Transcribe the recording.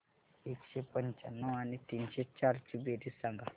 एकशे पंच्याण्णव आणि तीनशे चार ची बेरीज सांगा बरं